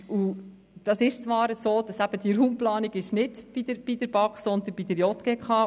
Es ist zwar so, dass die Raumplanung eben nicht bei der BaK angesiedelt ist, sondern bei der JGK.